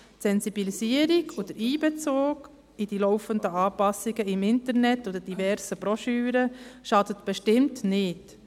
Die Sensibilisierung und der Einbezug in die laufenden Anpassungen im Internet und der diversen Broschüren schadet bestimmt nicht.